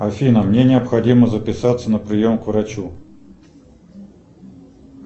афина мне необходимо записаться на прием к врачу